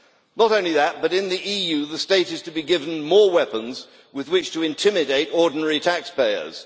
Not only that, but in the EU the state is to be given more weapons with which to intimidate ordinary taxpayers.